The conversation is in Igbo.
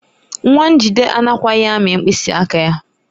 Nwa Njide anakwaghị amị mkpịsị aka ya.